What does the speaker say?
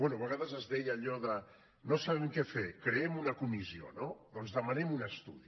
bé a vegades es deia allò de no sabem què fer creem una comissió no doncs demanem un estudi